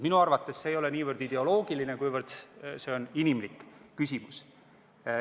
Minu arvates see ei ole niivõrd ideoloogiline, kuivõrd inimlik küsimus.